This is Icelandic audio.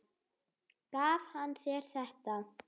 Gaf hann þér þetta?